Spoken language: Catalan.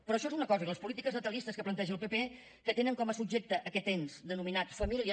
però això és una cosa i les polítiques natalistes que planteja el pp que tenen com a subjecte aquest ens denominat família